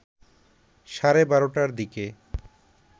সাড়ে ১২টার দিকে